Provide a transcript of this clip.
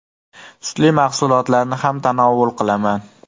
Sutli mahsulotlarni ham tanovul qilaman.